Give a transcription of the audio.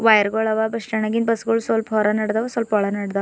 Tyre ಗುಳವ ಬಸ್ಟ್ಯಾಂಡಾಗಿನ್ bus ಗುಳ್ ಸ್ವಲ್ಪ ಹೊರನಡ್ದವ ಸ್ವಲ್ಪ ಒಳಾಗ್ ನಡ್ದವ.